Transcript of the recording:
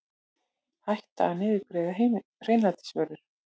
Hætta að niðurgreiða hreinlætisvörur